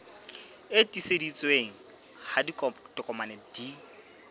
e tiiseditsweng ha ditokomane di